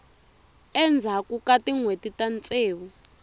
endzhaku ka tinhweti ta ntsevu